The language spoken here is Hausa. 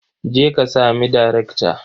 Je ka sami daraktan.